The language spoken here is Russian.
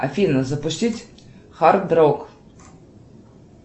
афина запустить хард рок